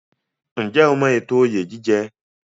Ǹjẹ́ o mọ ètò oyè jíjẹ?